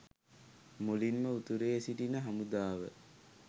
මුලින්ම උතුරේ සිටින හමුදාව